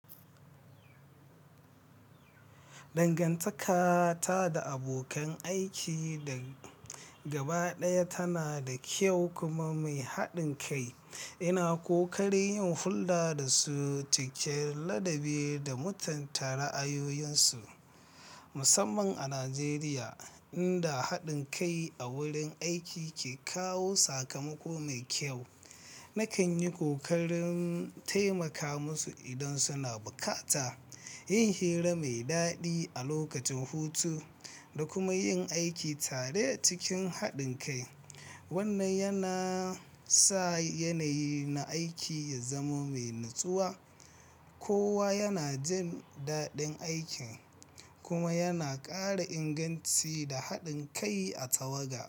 Dangantaka ta da abokan aiki da gaba ɗaya tana da kyau kuma mai haɗin kai. Ina ƙoƙari yin hulɗa da su, cikin ladabi da mutunta ra'ayoyinsu. Musamman a Najeriya, inda haɗin kai a wurin aiki ke kawo sakamako mai kyau. Nakan yi ƙoƙarin taimaka musu idan suna bukata, yin hira mai daɗi a lokacin hutu, da kuma yin aiki tare cikin haɗin kai. Wannan yana sa yanayi na aiki ya zama mai natsuwa, kowa yana jin daɗin aikin, kuma yana ƙara inganci da haɗin kai a tawaga.